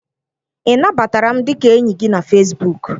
Ị nabatara m dịka enyi gị na Fesbuk?